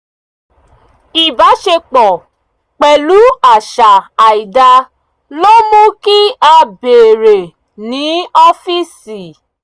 ìbáṣepọ̀ pẹ̀lú àṣà àìdá ló mú kí a bèèrè ní ọ́fíìsì